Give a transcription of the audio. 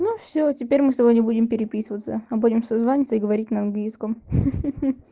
ну все теперь мы с тобой не будем переписываться а будем созваниваться и говорить на английском хи хи